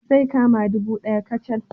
Zai kama ɗubu ɗaya kacal